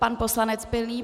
Pan poslanec Pilný.